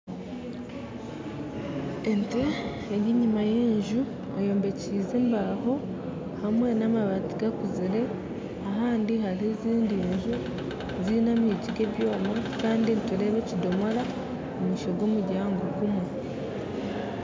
Ente eri enyima y'enju eyombekyise embaho hamwe n'amabaati gakuzire, ahandi hariho ezindi nju z'enyigi z'ebyoma, kandi nitureeba ekidomora omumaisho g'omuryango ogumwe.